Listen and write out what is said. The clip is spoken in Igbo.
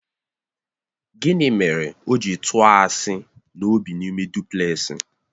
Gịnị mere o ji tụọ asị na ọ bị n'ime duplẹsị?